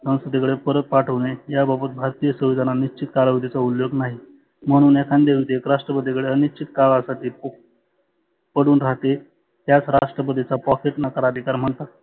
संसदे कडे परत पाठवने या बाबत भारतीय संविधानाने उल्लेख नाही. म्हणुन एखांदे राष्ट्रपतीकडे अनेक चिकारासाठी पडुन राहते. त्यास राष्ट्रपतीचा pocket नकार अधिकार म्हणतात.